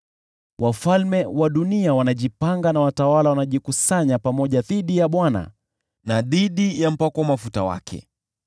Wafalme wa dunia wanajipanga na watawala wanajikusanya pamoja dhidi ya Bwana na dhidi ya Mpakwa Mafuta wake.